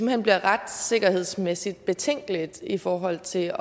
hen bliver retssikkerhedsmæssigt betænkeligt i forhold til